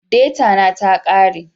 Deta na ta kare